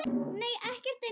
Nei ekkert eins og